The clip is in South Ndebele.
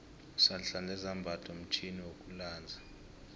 sihlanza izambatho mtjhini wokulanza